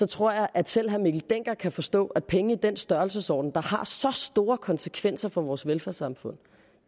tror jeg at selv herre mikkel dencker kan forstå at penge i den størrelsesorden der har så store konsekvenser for vores velfærdssamfund